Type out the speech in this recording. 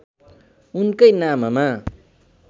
उनैका नाममा